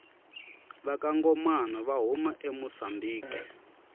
vakangomana vahhuma amusambiki